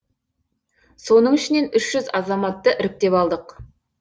соның ішінен үш жүз азаматты іріктеп алдық